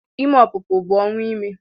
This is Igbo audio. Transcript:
Ime ọpụpụ bụ ọnwụ ime